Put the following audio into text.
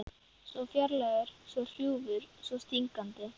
Svo fjarlægur, svo hrjúfur, svo stingandi.